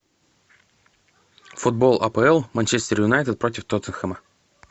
футбол апл манчестер юнайтед против тоттенхэма